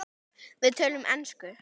Við töluðum ensku.